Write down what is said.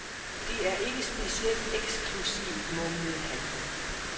Det er ikke specielt eksklusivt, mumlede han.